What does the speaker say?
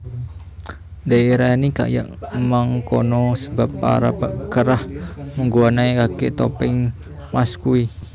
Diarani kaya mengkono sebab para peran migunakaké topeng masque